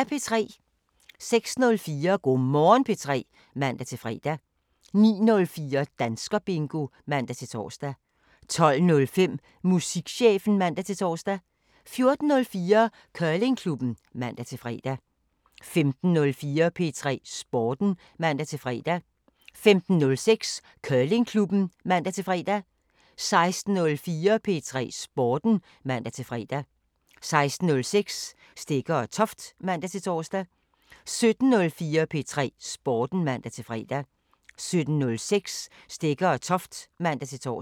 06:04: Go' Morgen P3 (man-fre) 09:04: Danskerbingo (man-tor) 12:05: Musikchefen (man-tor) 14:04: Curlingklubben (man-fre) 15:04: P3 Sporten (man-fre) 15:06: Curlingklubben (man-fre) 16:04: P3 Sporten (man-fre) 16:06: Stegger & Toft (man-tor) 17:04: P3 Sporten (man-fre) 17:06: Stegger & Toft (man-tor)